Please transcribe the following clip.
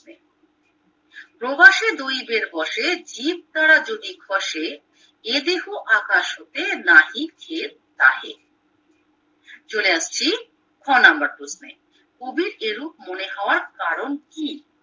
প্রবাসে দৈবের বসে জীবতারা যদি খসে এ দেহ আকাশ হতে নাহি জেব তাহে চলে আসছি খ নম্বর প্রশ্নে কবির এরূপ মনে হওয়ার কারণ কি